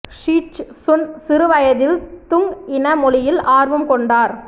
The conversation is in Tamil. ஷீ ச்சு சுன் சிறு வயதில் துங் இன மொழியில் ஆர்வம் கொண்டார்